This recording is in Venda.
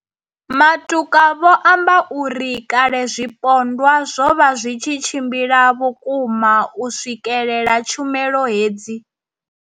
Matuka vho amba uri kale zwipondwa zwo vha zwi tshi tshimbila vhukuma u swikelela tshumelo hedzi.